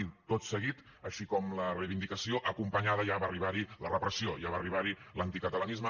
i tot seguit així com la reivindicació acompanyada ja va arribar hi la repressió ja va arribar hi l’anticatalanisme